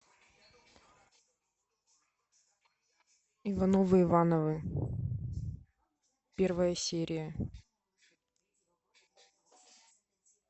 ивановы ивановы первая серия